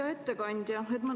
Hea ettekandja!